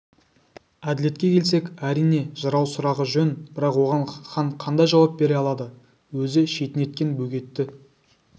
әділетке келсек әрине жырау сұрағы жөн бірақ оған хан қандай жауап бере алады өзі шетінеткен бөгетті